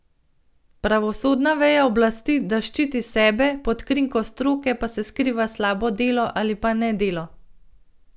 Pravosodna veja oblasti da ščiti sebe, pod krinko stroke pa se skriva slabo delo ali pa nedelo.